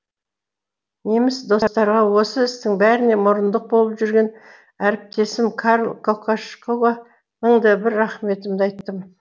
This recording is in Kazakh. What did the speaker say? неміс достарға осы істің бәріне мұрындық болып жүрген әріптесім карл кокошкоға мың да бір рақметімді айттым